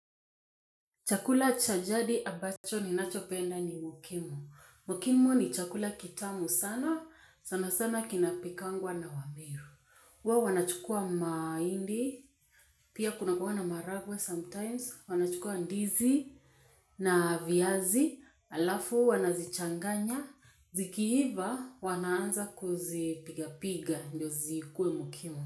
Chakula cha jadi abacho ni nachopenda ni mukimo. Mukimo ni chakula kitamu sana, sana sana kinapikangwa na wameru. Huwa wanachukua mahindi, pia kuna kuwa na maharagwe sometimes, wanachukua ndizi na viazi, halafu wanazichanganya, zikiiva wanaanza kuzipiga piga ndio zikuwe mukimo.